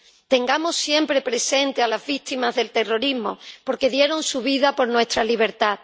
Tengamos siempre presentes a las víctimas del terrorismo, porque dieron su vida por nuestra libertad.